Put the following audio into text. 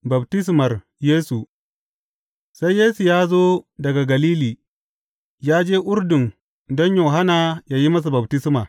Baftismar Yesu Sai Yesu ya zo daga Galili, ya je Urdun don Yohanna yă yi masa baftisma.